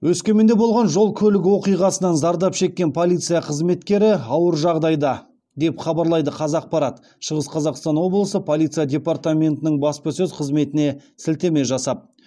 өскеменде болған жол көлік оқиғасынан зардап шеккен полиция қызметкері ауыр жағдайда деп хабарлайды қазақпарат шығыс қазақстан облысы полиция департаментінің баспасөз қызметіне сілтеме жасап